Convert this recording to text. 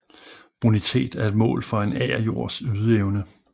Bonitet er et mål for en agerjords ydeevne